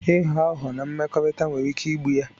Ịghọ aghụghọ na mmekọrịta nwere ike igbu ya